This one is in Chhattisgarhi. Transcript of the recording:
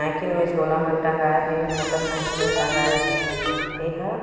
साइकिल में झोला मन टंगाए हे मोटर साइकिल में टंगाए हे ये हा--